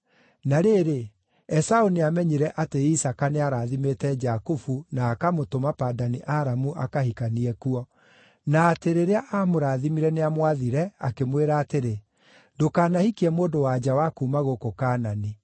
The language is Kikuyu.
Na rĩrĩ, Esaũ nĩamenyire atĩ Isaaka nĩarathimĩte Jakubu na akamũtũma Padani-Aramu akahikanie kuo, na atĩ rĩrĩa aamũrathimire nĩamwathire, akĩmwĩra atĩrĩ, “Ndũkanahikie mũndũ-wa-nja wa kuuma gũkũ Kaanani.”